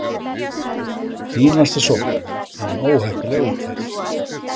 Fínasta sókn en óheppilega útfærð!